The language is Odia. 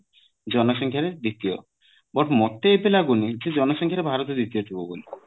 ଜନ ସଂଖ୍ୟା ରେ ଦ୍ଵିତୀୟ but ମତେ ଏତେ ଲାଗୁନି ଯେ ଜନ ସଂଖ୍ଯାରେ ଭାରତ ଦ୍ଵିତୀୟ ଥିବ ବୋଲି